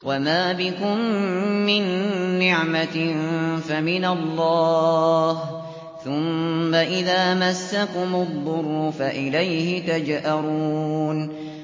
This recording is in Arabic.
وَمَا بِكُم مِّن نِّعْمَةٍ فَمِنَ اللَّهِ ۖ ثُمَّ إِذَا مَسَّكُمُ الضُّرُّ فَإِلَيْهِ تَجْأَرُونَ